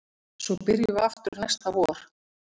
Svo byrjum við aftur næsta vor